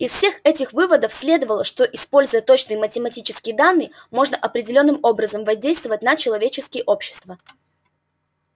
из всех этих выводов следовало что используя точные математические данные можно определённым образом воздействовать на человеческие общества